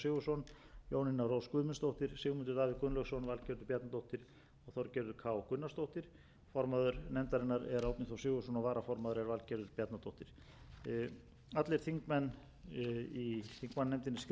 þorgerður k gunnarsdóttir formaður nefndarinnar er árni þór sigurðsson og varaformaður er valgerður bjarnadóttir allir þingmenn í þingmannanefndinni skrifa undir þá skýrslu sem hér er lögð fram